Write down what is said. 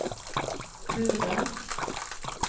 Hurdal